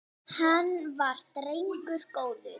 Hann var drengur góður